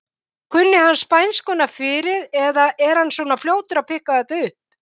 Kunni hann spænskuna fyrir eða er hann svona fljótur að pikka þetta upp?